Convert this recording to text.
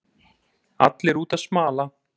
Allir úti að smala